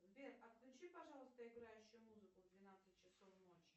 сбер отключи пожалуйста играющую музыку в двенадцать часов ночи